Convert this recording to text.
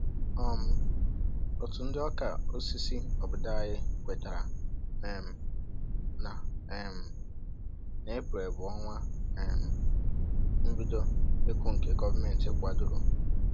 um Òtù ndị ọka osisi obodo anyị kwetara um na um na Eprel bụ ọnwa um mbido ịkụ nke gọọmenti kwadoro